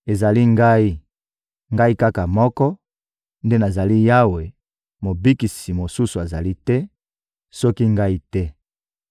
Ezali Ngai, Ngai kaka moko, nde nazali Yawe; Mobikisi mosusu azali te, soki Ngai te.